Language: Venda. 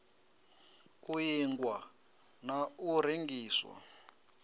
u ingwa na u rengiswa